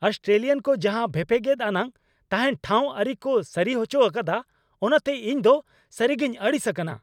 Australian ᱠᱚ ᱡᱟᱦᱟᱸ ᱵᱷᱮᱯᱮᱜᱮᱫ ᱟᱱᱟᱜ ᱛᱟᱦᱮᱱ ᱴᱷᱟᱶ ᱟᱹᱨᱤ ᱠᱚ ᱥᱟᱹᱨᱤᱦᱚᱪᱚ ᱟᱠᱟᱫᱟ ᱚᱱᱟᱛᱮ ᱤᱧᱫᱚ ᱥᱟᱹᱨᱤᱜᱤᱧ ᱟᱹᱲᱤᱥ ᱟᱠᱟᱱᱟ ᱾